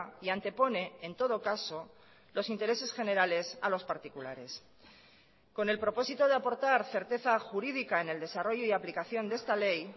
y antepone en todo caso los intereses generales a los particulares con el propósito de aportar certeza jurídica en el desarrollo y aplicación de esta ley